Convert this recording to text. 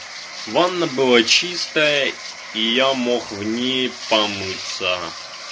ванна была чистая и я мог в ней помыться